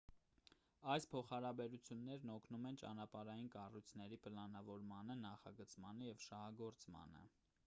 այս փոխհարաբերություններն օգնում են ճանապարհային կառույցների պլանավորմանը նախագծմանը և շահագործմանը